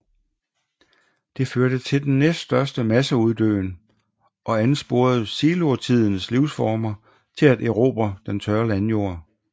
Det førte til den næststørste masseuddøen og ansporede silurtidens livsformer til at erobre den tørre landjord